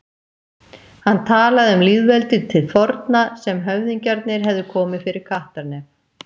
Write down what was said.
Hann talaði um lýðveldið til forna, sem höfðingjarnir hefðu komið fyrir kattarnef.